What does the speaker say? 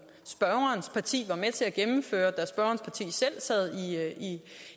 spørgerens parti var med til at gennemføre da spørgerens parti selv sad